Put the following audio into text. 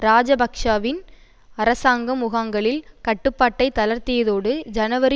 இராஜபக்ஷவின் அரசாங்கம் முகாங்களில் கட்டுப்பாட்டை தளர்த்தியதோடு ஜனவரி